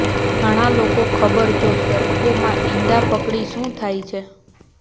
ઘણા લોકો ખબર જો સરકો માં ઇંડા પકડી શું થાય છે